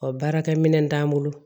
Ɔ baarakɛ minɛn t'an bolo